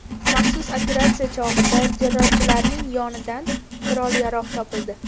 Maxsus operatsiya chog‘ida terrorchilarning yonidan qurol-yarog‘ topildi.